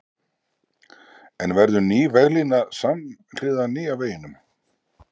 En verður ný veglína samhliða nýja veginum?